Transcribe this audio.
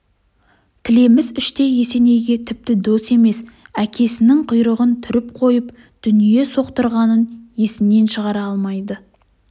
тілеміс іштей есенейге тіпті дос емес әкесінің құйрығын түріп қойып дүние соқтырғанын есінен шығара алмайды